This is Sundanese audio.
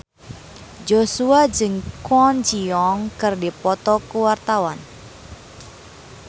Joshua jeung Kwon Ji Yong keur dipoto ku wartawan